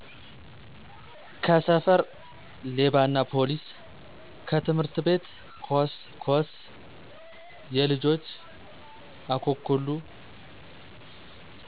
ከሰፈር -ሌባናፓሊስ ከትምህርት ቤት -ኮስ ኮስየልጆች-አኮኩሉ